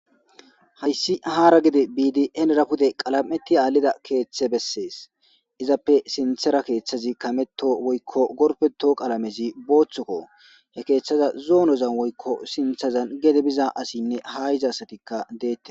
Haayssihaara gede biidi enera pude qalameti aallida keeththe bessees izappe sinthera keeththazi kameto woykko gorpeto qalamezi booththokko he keeththaza zoonozan woykko sinthazan gede biza asinne ha iza asatikka deette